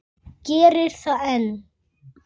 Enn var kyrrt.